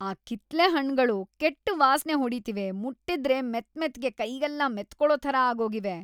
ಆ ಕಿತ್ಳೆ ಹಣ್ಣ್‌ಗಳು ಕೆಟ್ಟ್ ವಾಸ್ನೆ ಹೊಡೀತಿವೆ.. ಮುಟ್ಟಿದ್ರೆ ಮೆತ್ಮೆತ್ಗೆ ಕೈಗೆಲ್ಲ ಮೆತ್ಕೊಳೋ ಥರ ಆಗೋಗಿವೆ.